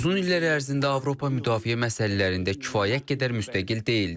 Uzun illər ərzində Avropa müdafiə məsələlərində kifayət qədər müstəqil deyildi.